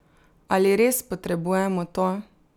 Ali res potrebujemo to?